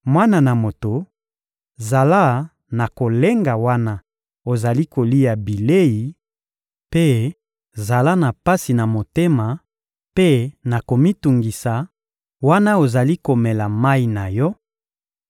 «Mwana na moto, zala na kolenga wana ozali kolia bilei mpe zala na pasi na motema mpe na komitungisa wana ozali komela mayi na yo;